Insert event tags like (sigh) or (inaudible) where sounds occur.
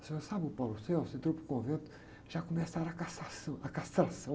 O senhor sabe o, (unintelligible) você entrou para o convento, já começaram a cassação, a castração.